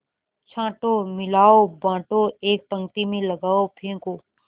छाँटो मिलाओ बाँटो एक पंक्ति में लगाओ फेंको